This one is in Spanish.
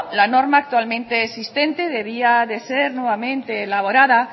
la norma actualmente existente debía ser nuevamente elaborada